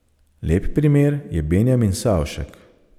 Lep primer je Benjamin Savšek.